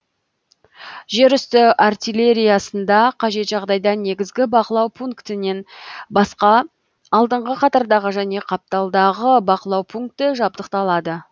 жер үсті артиллериясында кажет жағдайда негізгі бақылау пунктінен басқа алдыңғы қатардағы және қапталдағы бақылау пункті жабдықталады